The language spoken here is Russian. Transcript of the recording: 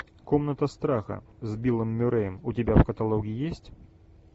комната страха с биллом мюрреем у тебя в каталоге есть